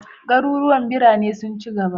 Garuruwan birane sun ci gaba.